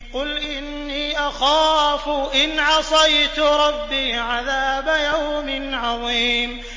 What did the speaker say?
قُلْ إِنِّي أَخَافُ إِنْ عَصَيْتُ رَبِّي عَذَابَ يَوْمٍ عَظِيمٍ